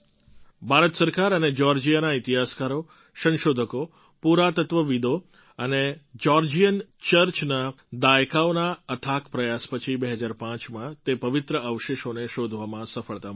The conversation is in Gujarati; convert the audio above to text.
ભારત સરકાર અને જ્યૉર્જિયાના ઇતિહાસકારો સંશોધકો પુરાતત્ત્વવિદો અને જ્યૉર્જિયન ચર્ચના દાયકાઓના અથાક પ્રયાસો પછી ૨૦૦૫માં તે પવિત્ર અવશેષોને શોધવામાં સફળતા મળી હતી